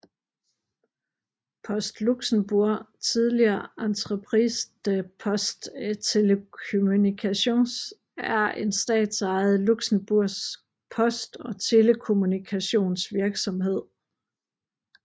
Post Luxembourg tidligere Entreprise des Postes et Télécommunications er en statsejet luxembourgsk post og telekommunikationsvirksomhed